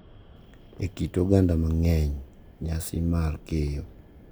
E kit oganda mang’eny, nyasi mar keyo .